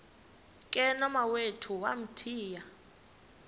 ke nomawethu wamthiya